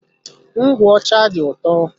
Ngwụ ọcha dị ụtọ.